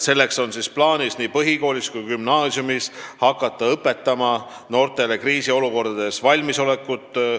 Selleks on plaanis nii põhikoolis kui gümnaasiumis hakata õpetama noortele kriisiolukordadeks valmisolekut.